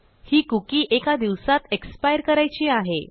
ही कुकी एका दिवसात expireकरायची आहे